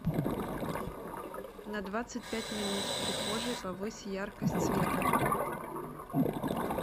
на двадцать пять минут в прихожей повысь яркость света